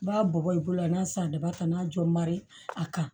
N b'a bɔ bɔ i bolo la n'a san daba ta n'a jɔ mari a kan